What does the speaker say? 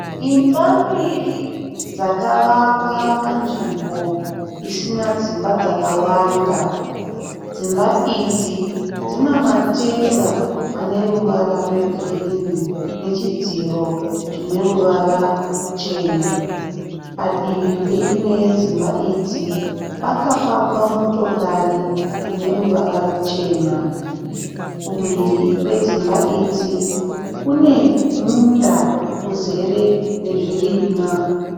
Imba mbiri dzakavakwa panzvimbo isina dzimba dzakawanda. Dzimba idzi dzine matenga ane ruvara rwegirini, nechidziro chine ruvara ruchena, padivi peimwe yedzimba idzi pakapakwa motokari ineruvara ruchena. Kumhiri kwedzimba idzi kune munda uzere nezvirimwa.